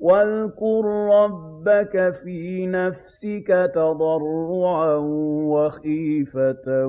وَاذْكُر رَّبَّكَ فِي نَفْسِكَ تَضَرُّعًا وَخِيفَةً